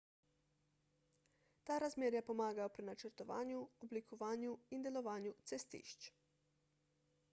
ta razmerja pomagajo pri načrtovanju oblikovanju in delovanju cestišč